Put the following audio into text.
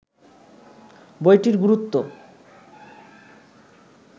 বইটির গুরুত্ব